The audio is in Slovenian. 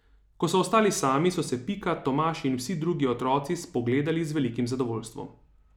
Ko so ostali sami, so se Pika, Tomaž in vsi drugi otroci spogledali z velikim zadovoljstvom.